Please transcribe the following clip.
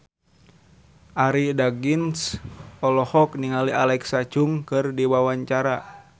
Arie Daginks olohok ningali Alexa Chung keur diwawancara